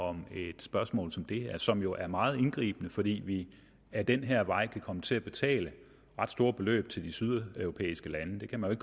om et spørgsmål som det her som jo er meget indgribende fordi vi ad den her vej kan komme til at betale ret store beløb til de sydeuropæiske lande det kan man